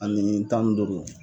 Ani tan ni duuru.